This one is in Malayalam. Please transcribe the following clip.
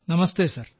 നമസ്തേ സർ